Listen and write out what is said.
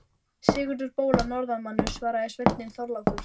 Sigurður bóla norðanmaður, svaraði sveinninn Þorlákur.